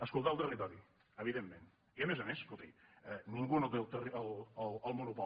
escoltar el territori evidentment i a més a més escolti ningú té el monopoli